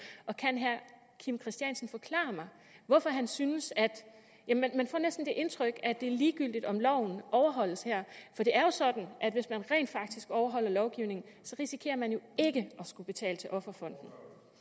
og kan herre kim christiansen forklare mig hvorfor han synes at give indtryk af at det er ligegyldigt om loven overholdes her for det er jo sådan at hvis man rent faktisk overholder lovgivningen risikerer man jo ikke at skulle betale til offerfonden